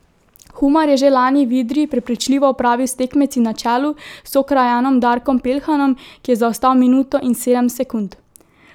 Humar je že lani v Idriji prepričljivo opravil s tekmeci na čelu s sokrajanom Darkom Peljhanom, ki je zaostal minuto in sedem sekund.